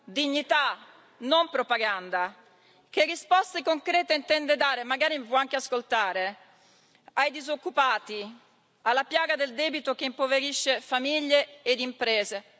dignità, non propaganda che risposte concrete intende dare magari mi può anche ascoltare ai disoccupati e alla piaga del debito che impoverisce famiglie ed imprese?